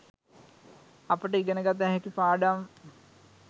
අපට ඉගෙන ගත හැකි පාඩම්,